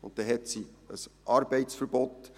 Dann hat sie ein Arbeitsverbot.